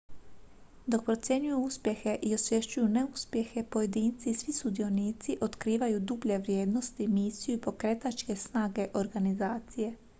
dok procjenjuju uspjehe i osvješćuju neuspjehe pojedinci i svi sudionici otkrivaju dublje vrijednosti misiju i pokretačke snage organizacije